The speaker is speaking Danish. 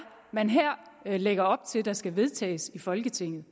man her lægger op til skal vedtages i folketinget